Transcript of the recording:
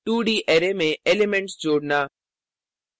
2d array में elements जोडना